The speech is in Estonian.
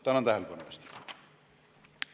Tänan tähelepanu eest!